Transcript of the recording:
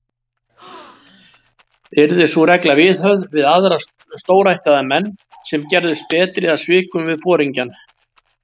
Yrði sú regla viðhöfð við aðra stórættaða menn, sem gerðust berir að svikum við foringjann.